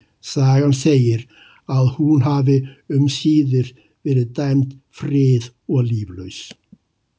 Sagan segir að hún hafi um síðir verið dæm frið- og líflaus.